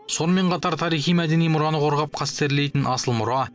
сонымен қатар тарихи мәдени мұраны қорғап қастерлейтін асыл мұра